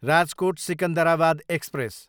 Rajkot, Secunderabad express